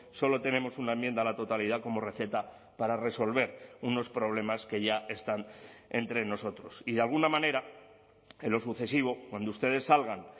solo tenemos una enmienda a la totalidad como receta para resolver unos problemas que ya están entre nosotros y de alguna manera en lo sucesivo cuando ustedes salgan